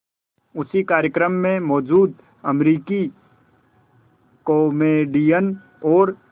उसी कार्यक्रम में मौजूद अमरीकी कॉमेडियन और